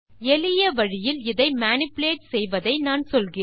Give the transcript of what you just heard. எளிய வழியில் இதை மேனிபுலேட் செய்வதை நான் சொல்கிறேன்